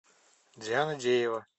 диана деева